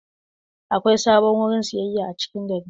Akwai sabon wurin sayayya a cikin gari.